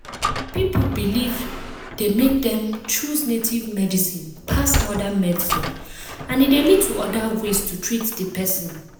people belief dey make dem choose native medicine pass modern medicine and e dey lead to other ways to treat the person.